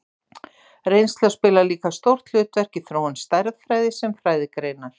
Reynsla spilar líka stórt hlutverk í þróun stærðfræði sem fræðigreinar.